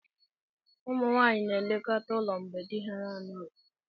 Ụmụ nwanyị na-elekọta ụlọ mgbe di ha na-anọghị.